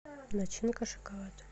начинка шоколад